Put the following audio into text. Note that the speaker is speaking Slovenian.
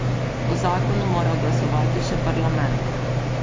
O zakonu mora glasovati še parlament.